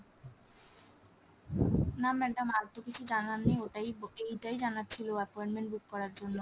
না madam আরতো কিছু জানার নেই ওটাই ঐটাই জানার ছিল appointment book করার জন্য